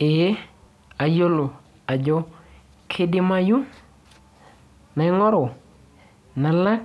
Ee ayiolo ajo kidimayu naing'oru nalak